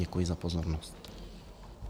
Děkuji za pozornost.